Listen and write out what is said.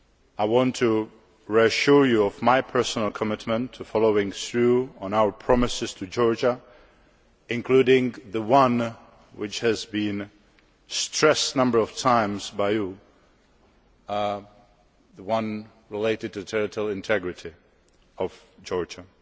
I want to reassure you of my personal commitment to following through on our promises to Georgia, including the one which you have stressed a number of times the one related to the territorial integrity of Georgia.